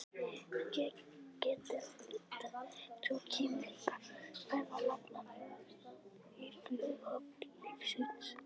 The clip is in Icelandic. Hér getur að líta tvo keimlíka ferðalanga í flughöfn lífsins.